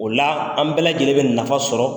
O la an bɛɛ lajɛlen bɛ nafa sɔrɔ